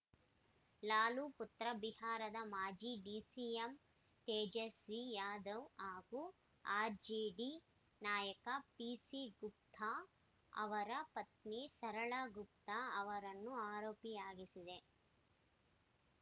ಲಾಲು ಪುತ್ರ ಬಿಹಾರದ ಮಾಜಿ ಡಿಸಿಎಂ ತೇಜಸ್ವಿ ಯಾದವ್‌ ಹಾಗೂ ಆರ್‌ಜೆಡಿ ನಾಯಕ ಪಿಸಿ ಗುಪ್ತಾ ಅವರ ಪತ್ನಿ ಸರಳಾ ಗುಪ್ತಾ ಅವರನ್ನೂ ಆರೋಪಿಯಾಗಿಸಿದೆ